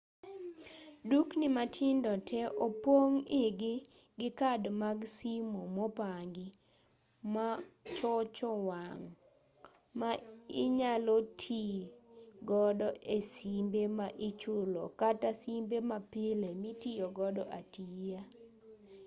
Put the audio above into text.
dukni matindo tee opong' igi gi kad mag simo mopangi machocho wang' ma inyalo tii godo e simbe ma ichulo kata simbe mapile mitiyogo atiya